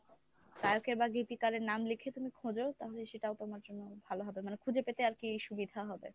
গায়কের বা গীতিকারের নাম লিখে তুমি খোঁজো তাহলে সেটাও তোমার জন্য ভালো হবে মানে খুঁজে পেতে আরকি সুবিধা হবে।